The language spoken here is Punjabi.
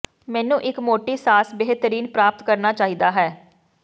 ਮੈਨੂੰ ਇੱਕ ਮੋਟੀ ਸਾਸ ਬੇਹਤਰੀਨ ਪ੍ਰਾਪਤ ਕਰਨਾ ਚਾਹੀਦਾ ਹੈ